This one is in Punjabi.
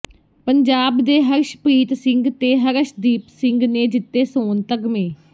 ਪੰਜਾਬ ਦੇ ਹਰਸ਼ਪ੍ਰੀਤ ਸਿੰਘ ਤੇ ਹਰਸ਼ਦੀਪ ਸਿੰਘ ਨੇ ਜਿੱਤੇ ਸੋਨ ਤਗਮੇ